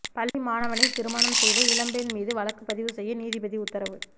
பள்ளி மாணவனை திருமணம் செய்த இளம்பெண் மீது வழக்குப்பதிவு செய்ய நீதிபதி உத்தரவு